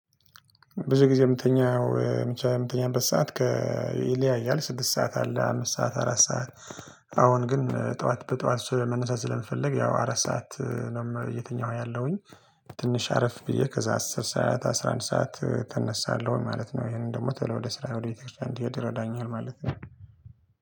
ብዙ ጊዜ የምተኛው ብቻ የምተኛበት ሰዓት ከ ይለያያል ስድስት ሰዓት አለ አምስት ሰዓት አራት ሰዓት አሁን ግን ጠዋት በጠዋት ስ መነሳት ስለምፈልግ ያው አራት ሰዓት ነው ም እየተኛው ያለሁኝ። ትንሽ አረፍ ብዬ ከዛ አስር ሰዓት አስራ አንድ ሰዓት ተነሳለሁ ማለት ነው። ይሄንን ደግሞ ቶሎ ወደ ስራ ወደ ቤተክርስቲያን እንድሄድ ይረዳኛል ማለት ነው